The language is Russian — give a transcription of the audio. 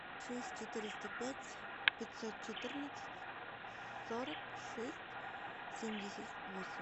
шесть четыреста пять пятьсот четырнадцать сорок шесть семьдесят восемь